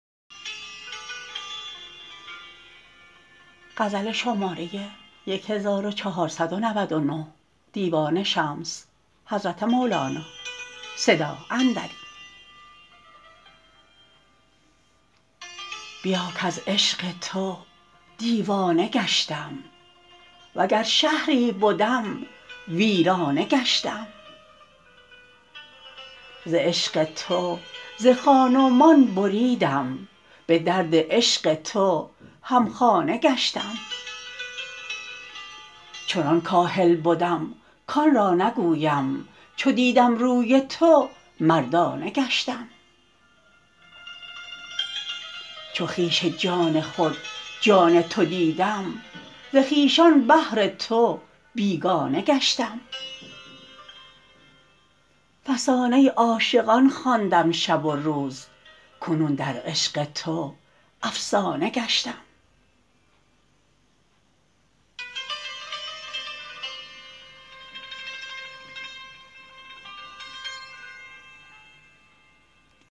بیا کز عشق تو دیوانه گشتم وگر شهری بدم ویرانه گشتم ز عشق تو ز خان و مان بریدم به درد عشق تو همخانه گشتم چنان کاهل بدم کان را نگویم چو دیدم روی تو مردانه گشتم چو خویش جان خود جان تو دیدم ز خویشان بهر تو بیگانه گشتم فسانه عاشقان خواندم شب و روز کنون در عشق تو افسانه گشتم